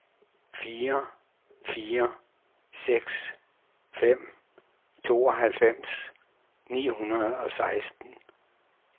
fire fire seks fem tooghalvfems ni hundrede og seksten